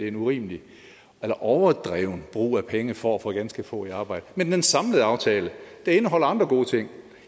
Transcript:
en urimelig eller overdreven brug af penge for at få ganske få i arbejde men den samlede aftale indeholder andre gode ting